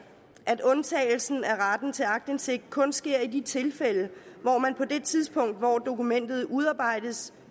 at undtagelsen af retten til aktindsigt kun sker i de tilfælde hvor man på det tidspunkt hvor dokumentet udarbejdes